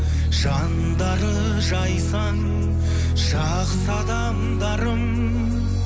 жандары жайсаң жақсы адамдарым